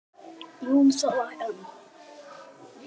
Jú, það var hann!